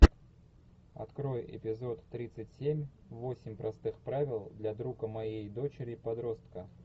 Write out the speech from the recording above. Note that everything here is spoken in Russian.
открой эпизод тридцать семь восемь простых правил для друга моей дочери подростка